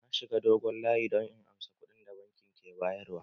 Na shiga dogon layi don in ansa kuɗin da bankin ke bayar wa